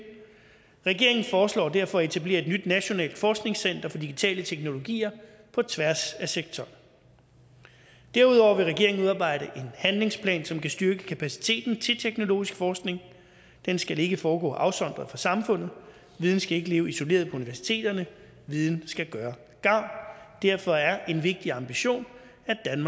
regeringen foreslår derfor at etablere et nyt nationalt forskningscenter for digitale teknologier på tværs af sektoren derudover vil regeringen udarbejde en handlingsplan som kan styrke kapaciteten til teknologisk forskning den skal ikke foregå afsondret fra samfundet viden skal ikke leve isoleret på universiteterne viden skal gøre gavn derfor er en vigtig ambition